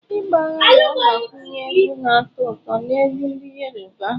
Ịgba Agbe na-agbakwunye egwu na-atọ ụtọ na egwú ndị Yoruba.